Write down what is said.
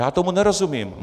Já tomu nerozumím.